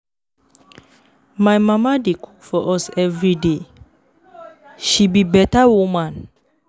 My mama dey cook for us everyday, she be beta woman.